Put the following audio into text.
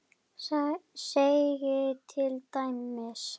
segir til dæmis